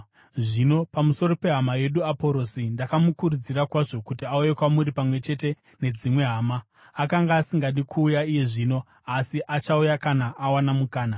Zvino pamusoro pehama yedu Aporosi: Ndakamukurudzira kwazvo kuti auye kwamuri pamwe chete nedzimwe hama. Akanga asingadi kuuya iye zvino, asi achauya kana awana mukana.